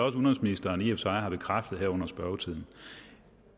at udenrigsministeren i og for sig har bekræftet her under spørgetiden